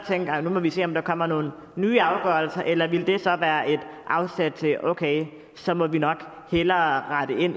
at nej nu må vi se om der kommer nogle nye afgørelser eller ville det så være et afsæt til at okay så må vi nok hellere rette ind i